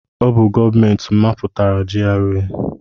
Ọ bụ gọọmenti mapụtara GRA.